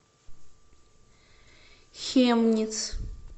хемниц